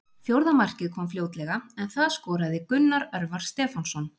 Fjórða markið kom fljótlega en það skoraði Gunnar Örvar Stefánsson.